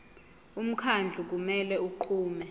umkhandlu kumele unqume